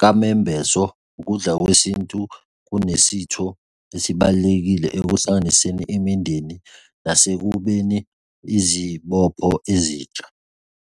kamembeso, ukudla kwesintu kunesitho esibalulekile ekuhlanganiseni imindeni nasekubeni izibopho ezintsha.